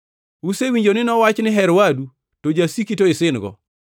“Usewinjo ni nowachi ni, ‘Her wadu + 5:43 \+xt Lawi 19:18\+xt* to jasiki to isin-go.’